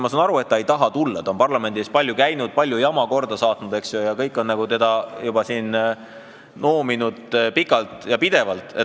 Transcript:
Ma saan aru, et ta ei taha tulla, ta on parlamendi ees palju käinud ja palju jama korda saatnud, eks ju, kõik on teda siin noominud pikalt ja pidevalt.